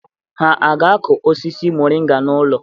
Ha aga-akụ osisi moringa n'ụlọ?